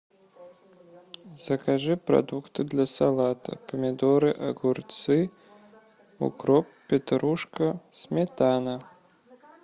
закажи продукты для салата помидоры огурцы укроп петрушка сметана